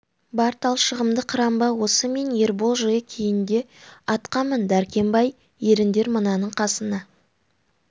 бар талшығымды қырам ба осы мен ербол жылы киін де атқа мін дәркембай еріңдер мынаның қасына